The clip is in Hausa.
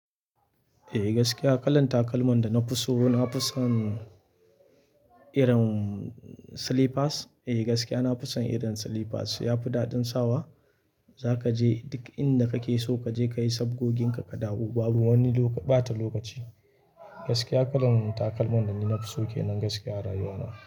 Eh gaskiya kalan takalman da na fi so, na fi son irin slippers. Eh gaskiya na fi son irin slippers, ya fi daɗin sawa. Za ka je duk inda kake so ka je kayi sabgogin ka ka dawo babu wani lok-- ɓata lokaci. Gaskiya kalan takalman da ni na fi so kenan gaskiya a rayuwana.